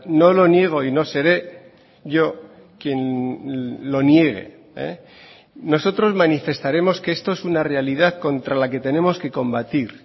no lo niego y no seré yo quien lo niegue nosotros manifestaremos que esto es una realidad contra la que tenemos que combatir